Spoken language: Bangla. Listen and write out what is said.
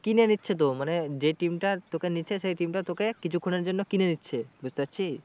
কিনে নিচ্ছে তো মানে যে team টা নিচ্ছে সেই team টা তোকে কিছুক্ষনের জন্য কিনে নিচ্ছে বুঝতে পারছিস?